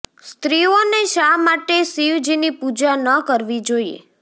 સ્ત્રીઓ ને શા માટે શિવ જી ની પૂજા ન કરવી જોઈએ